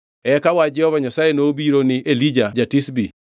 Eka wach Jehova Nyasaye nobiro ni Elija ja-Tishbi: